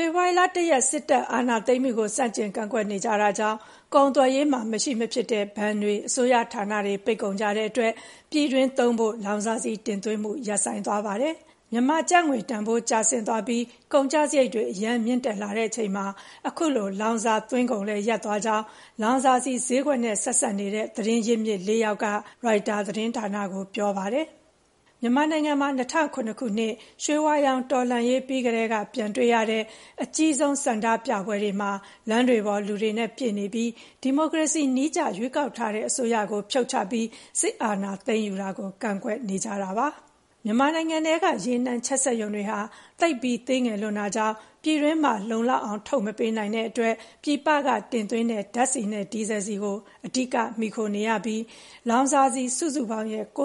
ဖေဖော်ဝါရီလ ၁ ရက် စစ်တပ်အာဏာသိမ်းမှုကို ဆန့်ကျင်ကန့်ကွက်နေကြတာကြောင့် ကုန်သွယ်ရေးမှာ မရှိမဖြစ်တဲ့ ဘဏ်တွေ၊ အစိုးရဌာနတွေပိတ်ကုန်ကြတဲ့အတွက် ပြည်တွင်းသုံးဖို့ လောင်စာဆီတင်သွင်းမှု ရပ်ဆိုင်းသွားပါတယ်။ မြန်မာ့ကျပ်ငွေတန်ဖိုးကျဆင်းသွားပြီး ကုန်ကျစရိတ်တွေ အရမ်းမြင့်တက်လာချိန်မှာ အခုလို လောင်စာသွင်းကုန်လည်းရပ်သွားကြောင်း လောင်စာဆီဈေးကွက်နဲ့ ဆက်စပ်တဲ့ သတင်းရင်းမြစ် လေးယောက်က ရိုက်တာသတင်းဌာနကို ပြောပါတယ်။ မြန်မာနိုင်ငံမှာ ၂၀၀၇ ခုနှစ် ရွှေဝါရောင်တော်လှန်ရေးပြီးကတည်းက ပြန်တွေ့ရတဲ့ အကြီးဆုံးဆန္ဒပြပွဲ တွေမှာ လမ်းတွေပေါ် လူတွေနဲ့ပြည့်နေပြီး ဒီမိုကရေစီနည်းကျ ရွေးကောက်ထားတဲ့အစိုးရကို ဖြုတ်ချပြီး စစ်အာဏာသိမ်းယူတာကို ကန့်ကွက်နေကြပါတယ်။ မြန်မာနိုင်ငံထဲက ရေနံချက်စက်ရုံတွေဟာ သိပ်ပြီး သေးငယ်လွန်းတာကြောင့် ပြည်တွင်းမှာ လုံ လောက်အောင် မထုတ်ပေးနိုင်တဲ့အတွက် ပြည်ပကနေတင်သွင်းတဲ့ ဓာတ်ဆီနဲ့ဒီဇယ်ဆီကို အဓိကမှီခိုနေရပြီး လောင်စာဆီစုစုပေါင်းရဲ့ ၉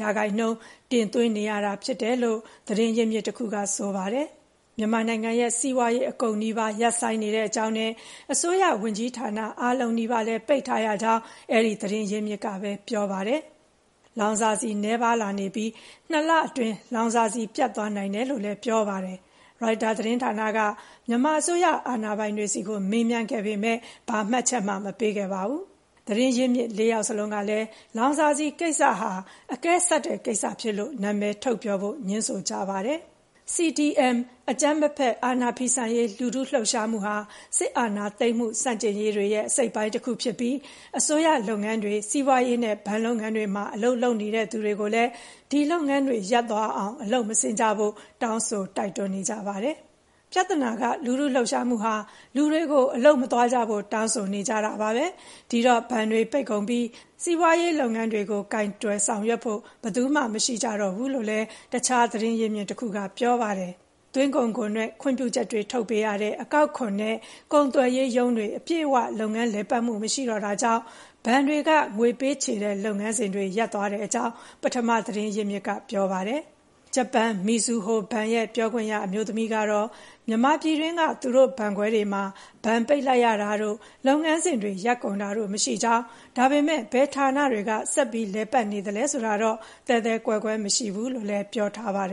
၈% တင်သွင်း နေရတာဖြစ်တယ်လို့ သတင်းရင်းမြစ်တခုက ဆိုပါတယ်။ မြန်မာနိုင်ငံရဲ့ စီးပွါးရေးအကုန်နီးပါး ရပ်ဆိုင်းနေကြောင်းနဲ့ အစိုးရဝန်ကြီးဌာန အားလုံးနီးပါးလည်း ပိတ်ထားရကြောင်း အဲဒီသတင်းရင်းမြစ်ကပဲပြောပါတယ်။ လောင်စာဆီနည်းပါးလာနေပြီး ၂ လအတွင်း လောင်စာဆီပြတ်သွားနိုင်ကြောင်းလည်းပြောပါတယ်။ ရိုက်တာသတင်းဌာနက မြန်မာအစိုးရအာဏာပိုင်တွေဆီကို မေးမြန်းခဲ့ပေမယ့် ဘာမှ မှတ်ချက်မပေးခဲ့ပါဘူး။ သတင်းရင်းမြစ် ၄ ယောက်စလုံးကလည်း လောင်စာဆီကိစ္စဟာ အကဲဆတ်တဲ့ကိစ္စဖြစ်လို့ နာမည်ထုတ်ပြောဖို့ ငြင်းဆိုကြပါတယ်။ CDM အကြမ်းမဖက် အာဏာဖီဆန်ရေး လူထုလှုပ်ရှားမှုဟာ စစ်အာဏာသိမ်းမှုဆန့်ကျင်ရေးတွေရဲ့ အစိတ်အပိုင်းတခုဖြစ်ပြီး အစိုးရလုပ်ငန်းတွေ၊ စီးပွါးရေးနဲ့ဘဏ်လုပ်ငန်းတွေမှာ အလုပ်လုပ်နေသူတွေကိုလည်း ဒီလုပ်ငန်းတွေရပ်သွားအောင် အလုပ်မဆင်းကြဖို့ တောင်းဆို တိုက်တွန်းနေကြပါတယ်။ “ပြဿနာက လူထုလှုပ်ရှားမှုဟာ လူတွေကို အလုပ်မသွားကြဖို့တောင်းဆိုနေကြတာပါပဲ။ ဒီတော့ ဘဏ်တွေပိတ်ကုန်ပြီး စီးပွါးရေးလုပ်ငန်းတွေကို ကိုင်တွယ်ဆောင်ရွက်ဖို့ ဘယ်သူမှမရှိကြတော့ဘူး” လို့လည်း တခြားသတင်းရင်းမြစ်တခုက ပြောပါတယ်။ သွင်းကုန်ခွန်နဲ့ ခွင့်ပြုချက်တွေလုပ်ပေးရတဲ့ အကောက်ခွန်နဲ့ ကုန်သွယ်ရေးရုံးတွေအပြည့်အဝ လုပ်ငန်းလည်ပတ်မှုမရှိတော့တာကြောင့် ဘဏ်တွေက ငွေပေးချေတဲ့လုပ်ငန်းစဉ်တွေ ရပ်သွားကြောင်း ပထမသတင်းရင်းမြစ် ပြောပါတယ်။ ဂျပန် မီဇူဟိုဘဏ်ရဲ့ပြောခွင့်ရအမျိူးသမီးကတော့ မြန်မာပြည်တွင်းက သူတို့ဘဏ်ခွဲတွေမှာ ဘဏ်ပိတ်လိုက်ရတာတို့ လုပ်ငန်းစဉ်တွေရပ်ကုန်တာတို့မရှိကြောင်း၊ ဒါပေမယ့် ဘယ်ဌာနတွေက ဆက်လည်ပတ်နေလဲဆိုတာတော့ သဲသဲကွဲကွဲမရှိဘူးလို့ ပြောထားပါတယ်